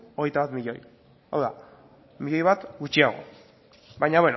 hogeita bat milioi hau da miloi bat gutxiago baina